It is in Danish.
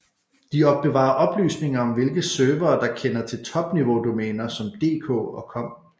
De opbevarer oplysninger om hvilke servere der kender til topniveaudomæner som dk og com